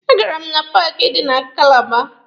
A gara m na paaki dị na Kalaba.